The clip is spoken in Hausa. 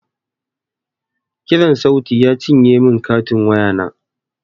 Kiran sauti ya cinye min katin waya